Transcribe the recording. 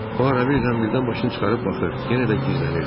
O arabir zəmbildən başını çıxarıb baxır, yenə də gizlənirdi.